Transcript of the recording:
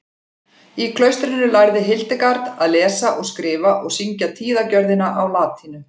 Í klaustrinu lærði Hildegard að lesa og skrifa og syngja tíðagjörðina á latínu.